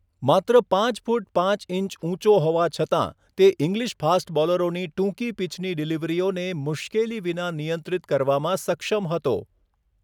માત્ર પાંચ ફૂટ પાંચ ઇંચ ઊંચો હોવા છતાં, તે ઇંગ્લિશ ફાસ્ટ બોલરોની ટૂંકી પિચની ડીલીવરીઓને મુશ્કેલી વિના નિયંત્રિત કરવામાં સક્ષમ હતો.